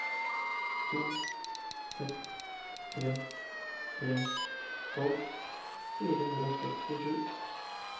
to seks tre tre tolv fire hundre og sekstisju